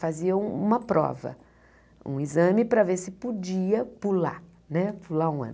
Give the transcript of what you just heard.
Fazia uma prova, um exame para ver se podia pular, né pular um ano.